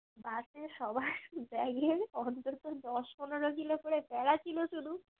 bus এ সবার bag এ অন্তত দশ পনেরো কিলো করে প্যাড়া ছিল শুধু